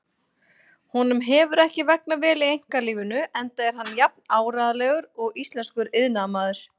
Honum hefur ekki vegnað vel í einkalífinu enda er hann jafn áreiðanlegur og íslenskur iðnaðarmaður.